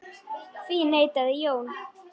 Því neitaði Jón.